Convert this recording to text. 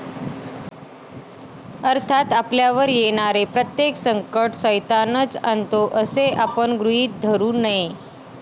अर्थात, आपल्यावर येणारे प्रत्येक संकट सैतानच आणतो असे आपण गृहीत धरू नये.